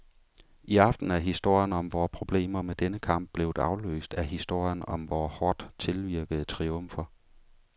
I aften er historien om vore problemer med denne kamp blevet afløst af historien om vore hårdt tilvirkede triumfer.